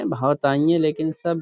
بھوت آی ہے لیکن سب --